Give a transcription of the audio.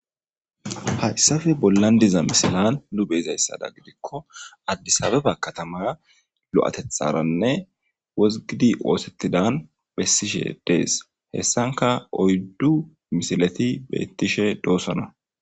Haysape bolan diza misilan nu be'zaysadan gidiko addisabeba katama lo'atetharanne wozgidi osettidan besishe dees hesanka oyddu misileti betishe dosona.